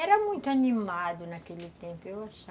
Era muito animado naquele tempo, eu acha